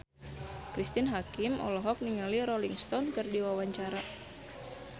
Cristine Hakim olohok ningali Rolling Stone keur diwawancara